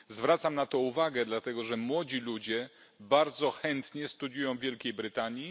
Zwracam na to uwagę, dlatego że młodzi ludzie bardzo chętnie studiują w Wielkiej Brytanii.